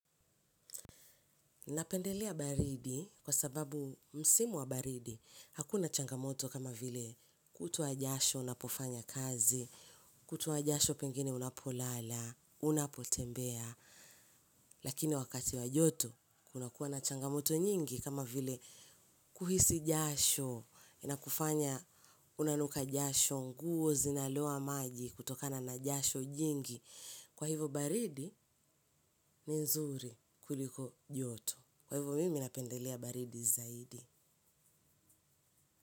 Napendelea baridi kwa sababu msimu wa baridi, hakuna changamoto kama vile kutoa jasho unapofanya kazi, kutoa jasho pengine unapolala, unapotembea, lakini wakati wa joto kuna kuwa na changamoto nyingi kama vile kuhisi jasho, inakufanya unanuka jasho, nguo zinaloa maji kutokana na jasho jingi, kwa hivo baridi ni nzuri kuliko joto. Kwa hivyo mimi napendelea baridi zaidi.